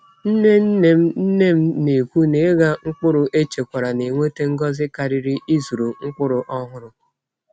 Nne nne m nne m na-ekwu na ịgha mkpụrụ echekwara na-eweta ngọzi karịrị ịzụrụ mkpụrụ ọhụrụ.